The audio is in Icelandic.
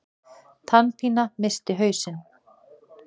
Tannpína missti hausinn.